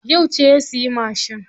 Yauce ya siya mashin?